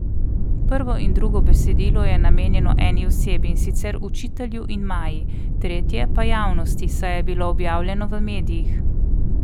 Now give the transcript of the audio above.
Prvo in drugo besedilo je namenjeno eni osebi, in sicer učitelju in Maji, tretje pa javnosti, saj je bilo objavljeno v medijih.